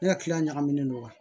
Ne ka kilan ɲagaminen don wa